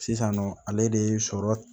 Sisannɔ ale de ye sɔrɔ